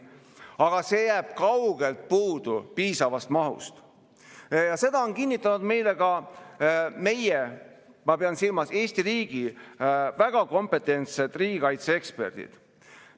Aga sellest jääb kaugelt puudu piisavaks mahuks ja seda on kinnitanud meile ka meie, ma pean silmas Eesti riigi, väga kompetentsed riigikaitseeksperdid.